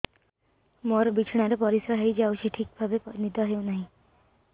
ମୋର ବିଛଣାରେ ପରିସ୍ରା ହେଇଯାଉଛି ଠିକ ଭାବେ ନିଦ ହଉ ନାହିଁ